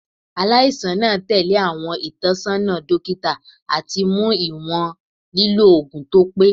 Alaisan naa tẹle awọn itọnisọna dokita ati mu iwọn lilo oogun to pe. "